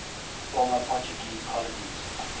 former portuguese colonies